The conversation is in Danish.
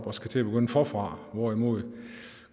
og skal til at begynde forfra hvorimod